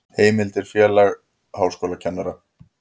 Heimildir Félag háskólakennara.